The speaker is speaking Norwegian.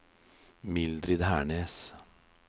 Mildrid Hernes